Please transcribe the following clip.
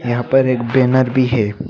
यहां पर एक बैनर भी है।